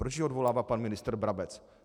Proč ji odvolává pan ministr Brabec?